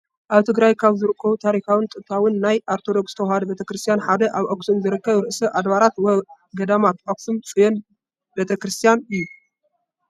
ኣብ ትግራይ ካብ ዝርከቡ ታሪካውን ጥንታውን ናይ ኦርቶዶክስ ተዋህዶ ቤተ ክርስትያን ሓደ ኣብ ኣኽሱም ዝርከብ ርእሰ ኣድባራት ወ-ገዳማት ኣኽሱም ፅዮን ቤተ ክርስትያን እዩ፡፡